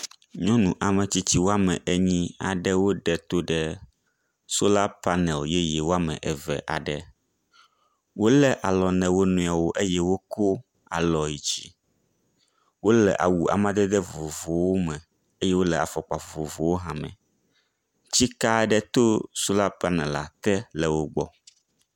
Nyɔnu ametsitsi wome enyi aɖe wiɖe eto ɖe sola panel yeye wome eve aɖe, wole alɔ na wo nɔewo eye wokɔ alɔ yi dzi, wole awu amadede vovovowo me kple afɔkpa vovovowo hã me, tsike aɖe to sola panela te le wogbɔ